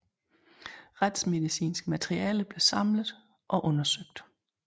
Retsmedicinsk materiale blev samlet og undersøgt